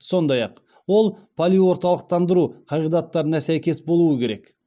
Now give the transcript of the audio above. сондай ақ ол полиорталықтандыру қағидаттарына сәйкес болуы керек